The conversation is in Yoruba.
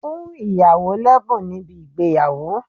Fún ìyàwó lẹ́bùn níbi ìgbéyàwó!